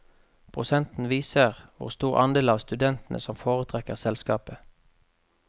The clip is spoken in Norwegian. Prosenten viser hvor stor andel av studentene som foretrekker selskapet.